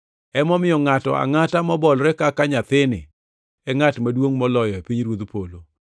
Emomiyo ngʼato angʼata mobolore kaka nyathini e ngʼat maduongʼ moloyo e pinyruodh polo.